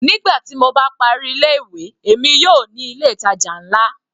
Nígbà tí mo bá parí ilé ìwé, èmi yóò ní ilé ìtàjà nlá.